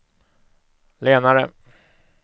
lenare